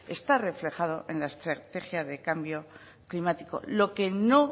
está reflejado en la estrategia de cambio climático lo que no